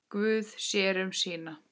Guð sér um sína.